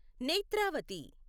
Netravati